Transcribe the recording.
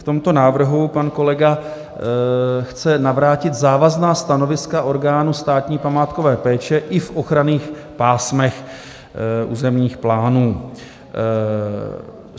V tomto návrhu pan kolega chce navrátit závazná stanoviska orgánů státní památkové péče i v ochranných pásmech územních plánů.